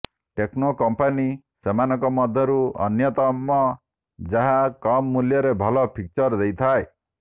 techno company ସେମାନଙ୍କ ମଧ୍ୟରୁ ଅନ୍ୟତମ ଯାହା କମ୍ ମୂଲ୍ୟରେ ଭଲ ଫିଚର୍ ଦେଇଥାଏ